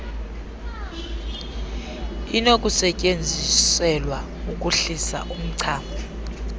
inokusetyenziselwa ukuhlisa umchamo